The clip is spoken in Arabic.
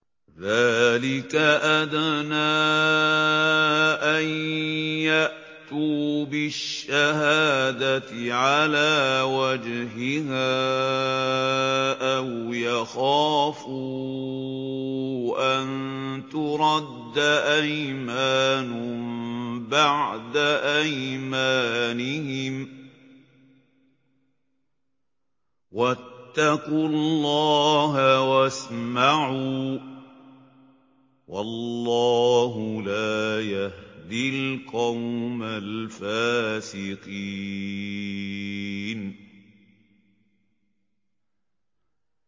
ذَٰلِكَ أَدْنَىٰ أَن يَأْتُوا بِالشَّهَادَةِ عَلَىٰ وَجْهِهَا أَوْ يَخَافُوا أَن تُرَدَّ أَيْمَانٌ بَعْدَ أَيْمَانِهِمْ ۗ وَاتَّقُوا اللَّهَ وَاسْمَعُوا ۗ وَاللَّهُ لَا يَهْدِي الْقَوْمَ الْفَاسِقِينَ